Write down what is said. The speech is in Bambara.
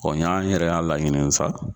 y'an yɛrɛ y'a laɲini sa.